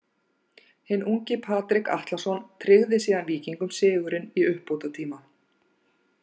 Hinn ungi Patrik Atlason tryggði síðan Víkingum sigurinn í uppbótartíma.